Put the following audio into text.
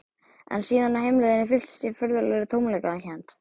En síðan á heimleiðinni fylltist ég furðulegri tómleikakennd.